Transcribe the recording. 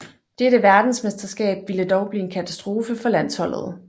Dette verdensmesterskab ville dog blive en katastrofe for landsholdet